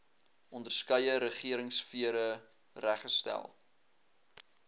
onderskeie regeringsfere reggestel